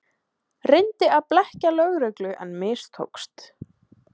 Reyndi að blekkja lögreglu en mistókst